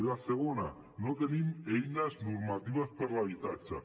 la segona no tenim eines normatives per a l’habitatge